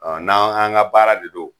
Ɔ n'an an ga baara de do